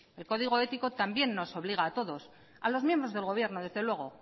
el código ético también nos obliga a todos a los miembros del gobierno desde luego